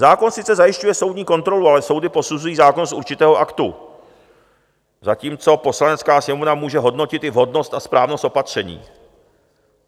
Zákon sice zajišťuje soudní kontrolu, ale soudy posuzují zákon z určitého aktu, zatímco Poslanecká sněmovna může hodnotit i vhodnost a správnost opatření.